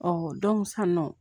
san nɔ